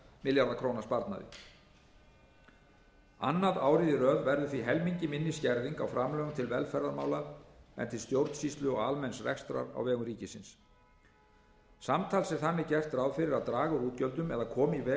milljarða króna sparnaði annað árið í röð verður því helmingi minni skerðing á framlögum til velferðarmála en til stjórnsýslu og almenns rekstrar á vegum ríkisins samtals er þannig gert ráð fyrir að draga úr útgjöldum eða koma í veg fyrir